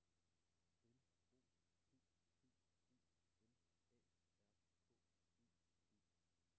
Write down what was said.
L O P P E M A R K E D